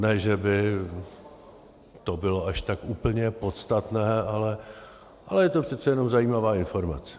Ne že by to bylo až tak úplně podstatné, ale je to přece jenom zajímavá informace.